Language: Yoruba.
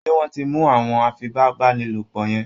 ṣé wọ́n ti mú àwọn afipábánilòpọ̀ yẹ́n?